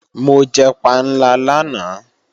Mo jẹ panla lánàá